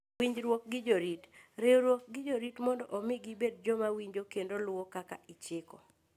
Winjruok gi Jorit: Riwruok gi jorit mondo omi gibed joma winjo kendo luwo kaka ichiko.